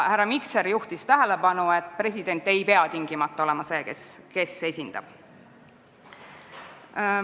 Härra Mikser juhtis tähelepanu, et president ei pea tingimata olema see, kes riiki esindab.